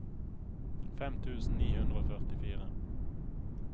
fem tusen ni hundre og førtifire